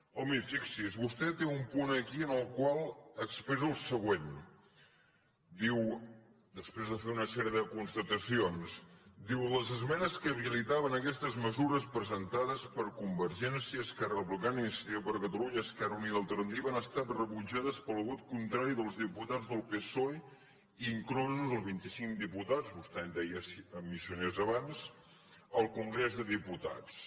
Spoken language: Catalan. home fixi’s vostè té un punt aquí en el qual expressa el següent diu després de fer una sèrie de constatacions ho diu les esmenes que habilitaven aquestes mesures presentades per convergència esquerra republicana i iniciativa per catalunya esquerra unida i alternativa han estat rebutjades pel vot contrari dels diputats del psoe inclosos els vint i cinc diputats vostè en deia missioners abans al congrés dels diputats